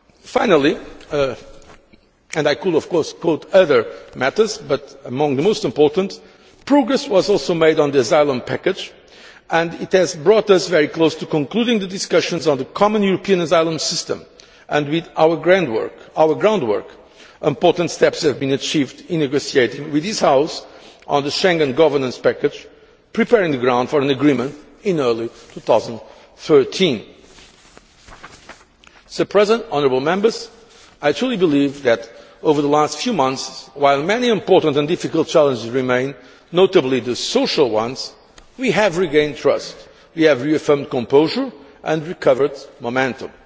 Finally, and I could of course quote other matters, but among the most important, progress was also made on the asylum package and it has brought us very close to concluding the discussions on the Common European Asylum System and, with our groundwork, important steps have been achieved in negotiating with this House on the Schengen governance package, preparing the ground for an agreement in early 2013. I truly believe that over the last few months, while many important and difficult challenges remain, notably the social ones, we have regained trust, we have reaffirmed composure and recovered momentum.